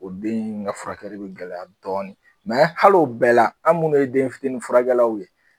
O den in ka furakɛli bɛ gɛlɛya dɔɔni hali o bɛɛ la an minnu ye den fitini furakɛlaw ye